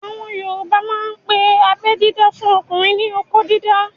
Àwọn yoòbá máa n pe abẹ́ dídá fún ọmọkùnrin ní "okó dídá"